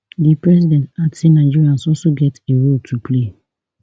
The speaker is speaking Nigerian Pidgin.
di president add say nigerians also get a role to play